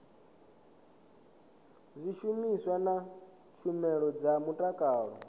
zwishumiswa na tshumelo dza mutakalo